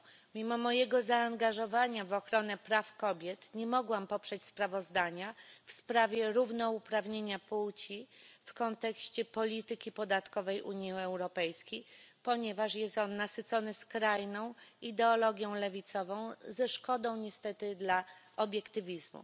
Mimo mojego zaangażowania w ochronę praw kobiet nie mogłam poprzeć sprawozdania w sprawie równouprawnienia płci w kontekście polityki podatkowej Unii Europejskiej, ponieważ jest ono nasycone skrajną ideologią lewicową ze szkodą niestety dla obiektywizmu.